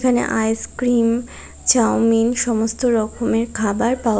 এখানে ice cream chow mein সমস্ত রকমের খাবার পাওয়া--